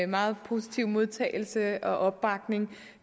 meget positive modtagelse af og opbakning